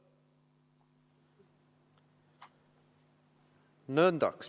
Nõndaks.